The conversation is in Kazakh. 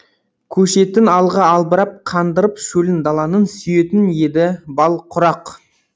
көшетін алға албырап қандырып шөлін даланың сүйетін еді бал құрақ